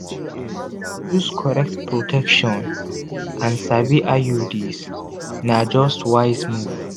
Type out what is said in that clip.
to use correct protection and sabi iuds na just wise move.